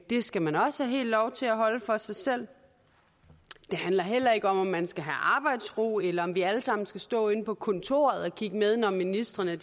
det skal man også have lov til helt at holde for sig selv det handler heller ikke om at man skal have arbejdsro eller om vi alle sammen skal stå inde på kontoret og kigge med når ministrene